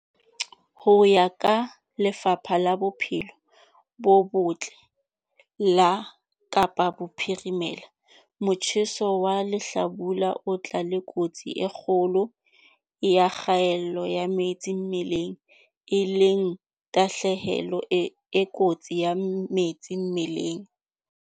Ho ya ka Lefapha la Bophelo bo Botle la Kapa Bophirimela, motjheso wa lehlabula o tla le kotsi e kgolo ya kgaello ya metsi mmeleng, e leng tahlehelo e kotsi ya metsi mmeleng.